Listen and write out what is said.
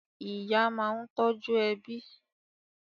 Ìyá máa ń tọ́jú ẹbí.